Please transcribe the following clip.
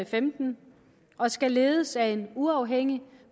femten og skal ledes af en uafhængig